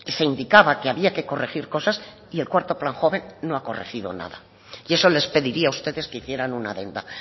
se indicaba que había que corregir cosas y el cuarto plan joven no ha corregido nada y eso les pediría a ustedes que hicieran una adenda